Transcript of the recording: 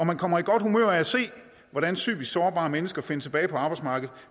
man kommer i godt humør af at se hvordan psykisk sårbare mennesker finder tilbage på arbejdsmarkedet